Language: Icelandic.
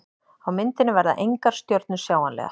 Á myndinni verða engar stjörnur sjáanlegar.